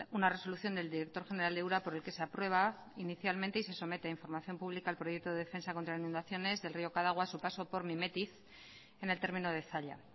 una resolución del director general de ura por el que se aprueba inicialmente y se somete a información pública el proyecto de defensa contra inundaciones del río cadagua a su paso por mimetiz en el término de zalla